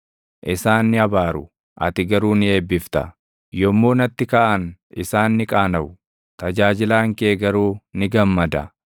Isaan ni abaaru; ati garuu ni eebbifta; yommuu natti kaʼan isaan ni qaanaʼu; tajaajilaan kee garuu ni gammada.